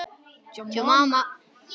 Stundum fórum við saman.